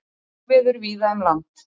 Óveður víða um land